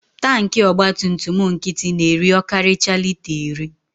Tanki ọgbatumtum nkịtị na-eri ọkarịchaa lita iri.